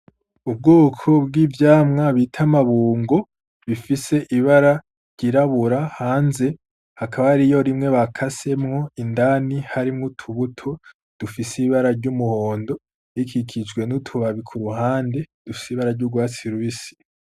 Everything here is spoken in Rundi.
Ubwoko bw'ivyamwa bita amabungo, bifise ibara ryirabura hanze hakaba hariyo rimwe bakasemwo indani harimwo utubuto dufise ibara ry'umuhondo, rikikijwe n'utubabi ku ruhande dufise ibara ry'urwatsi rubisi.